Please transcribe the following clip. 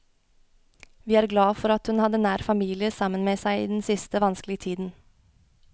Vi er glad for at hun hadde nær familie sammen med seg i den siste, vanskelige tiden.